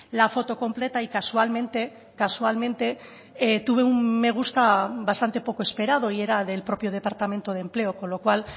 la foto completa y casualmente casualmente tuve un me gusta bastante poco esperado y era del propio departamento de empleo con lo cual